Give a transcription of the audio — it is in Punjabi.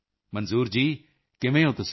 ਮੰਜ਼ੂਰ ਜੀ ਕਿਵੇਂ ਹੋ ਤੁਸੀਂ